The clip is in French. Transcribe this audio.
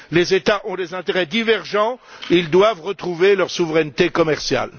Les États ont des intérêts divergents et ils doivent retrouver leur souveraineté commerciale.